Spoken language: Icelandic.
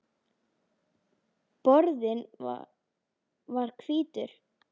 Borðinn var hvítur.